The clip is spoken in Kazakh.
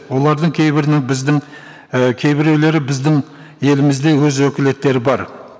оладың кейбірінің біздің і кейбіреулері біздің елімізде өз өкілеттері бар